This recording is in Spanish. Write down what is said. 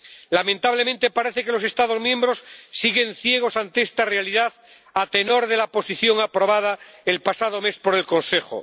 Lamentablemente, parece que los Estados miembros siguen ciegos ante esta realidad, a tenor de la posición aprobada el pasado mes por el Consejo.